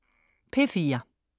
P4: